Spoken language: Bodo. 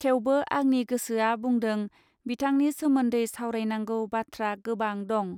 थेवबो आंनि गोसोआ बुंदों बिथांनि सोमोन्दै सावरायनांगौ बाथ्रा गोबां दं.